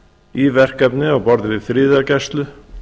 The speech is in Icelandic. í verkefni á borð við friðargæslu